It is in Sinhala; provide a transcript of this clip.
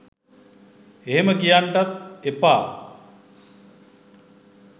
එහෙම කියන්නටත් එපා